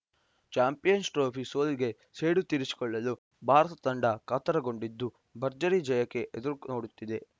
champions Trophy ಸೋಲಿಗೆ ಸೇಡು ತೀರಿಸಿಕೊಳ್ಳಲು ಭಾರತ ತಂಡ ಕಾತರಗೊಂಡಿದ್ದು ಭರ್ಜರಿ ಜಯಕ್ಕೆ ಎದುರು ನೋಡುತ್ತಿದೆ